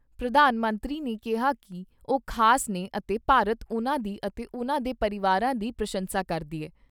ਪ੍ਰਧਾਨ ਮੰਤਰੀ ਨੇ ਕਿਹਾ ਕਿ ਉਹ ਖ਼ਾਸ ਨੇ ਅਤੇ ਭਾਰਤ ਉਨ੍ਹਾਂ ਦੀ ਅਤੇ ਉਨ੍ਹਾਂ ਦੇ ਪਰਿਵਾਰਾਂ ਦੀ ਪ੍ਰਸ਼ੰਸਾ ਕਰਦਾ ਹੈ।